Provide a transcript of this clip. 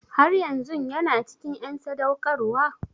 Har yanzun ya cikin en sadaukarwa?